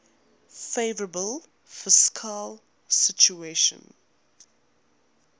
favourable fiscal situation